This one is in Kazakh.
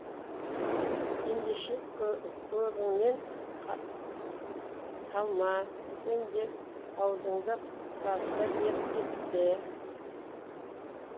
ендеше көбіңнен қалма сен де аузыңды сасыта бер деп пе